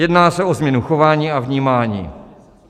Jedná se o změnu chování a vnímání.